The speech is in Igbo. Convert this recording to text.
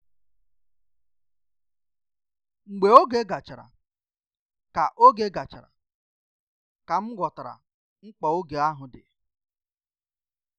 Mgbe oge gachara ka oge gachara ka m ghọtara mkpa oge ahụ di